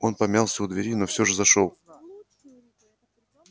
он помялся у двери но всё же зашёл